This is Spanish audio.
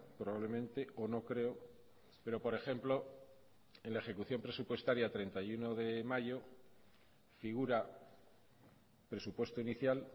probablemente o no creo pero por ejemplo en la ejecución presupuestaria treinta y uno de mayo figura presupuesto inicial